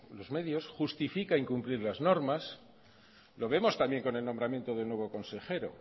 los medios justifica incumplir las normas lo vemos también con el nombramiento del nuevo consejero